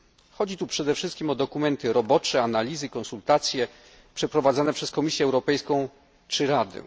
Chodzi tutaj przede wszystkim o dokumenty robocze, analizy, konsultacje przeprowadzane przez Komisję Europejską, czy Radę.